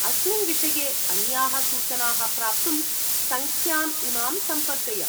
अस्मिन् विषये अन्याः सूचनाः प्राप्तुं सङ्ख्याम् इमां सम्पर्कय।